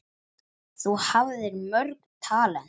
Þú hafðir mörg talent.